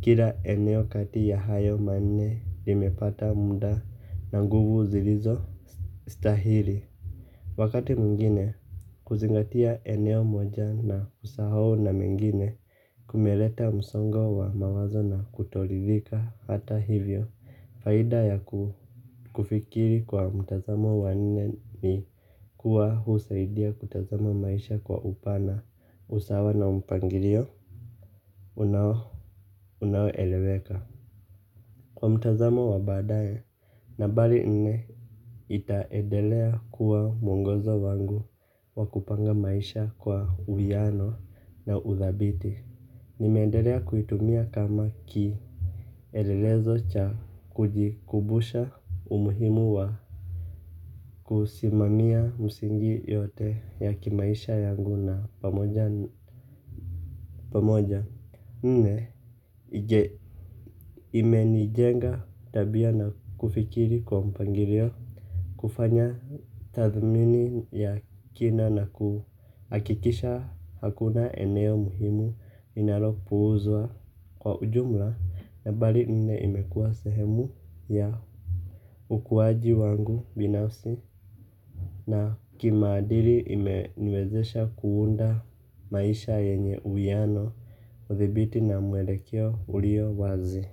kila eneo kati ya hayo manne limepata mda na nguvu zilizostahili. Wakati mwingine kuzingatia eneo moja na kusahau na mengine kumeleta msongo wa mawazo na kutoridhika hata hivyo. Faida ya kufikiri kwa mtazamo wa nne ni kuwa husaidia kutazama maisha kwa upana usawa na mpangilio Unaoeleweka. Kwa mtazamo wa baadaye. Nambari nne itaedelea kuwa mwongozo wangu wa kupanga maisha kwa uwiano na udhabiti. Nimeendelea kuitumia kama kielelezo cha kujikumbusha umuhimu wa kusimamia msingi yote ya kimaisha yangu na pamoja pamoja nne imenijenga tabia na kufikiri kwa mpangilio. Kufanya tathmini ya kina na kuhakikisha hakuna eneo muhimu inalopuuzwa kwa ujumla. Nambari nne imekuwa sehemu ya ukuwaji wangu binafsi na kimaadili imeniwezesha kuunda maisha yenye uwiano. Udhibiti na mwelekeo ulio wazi.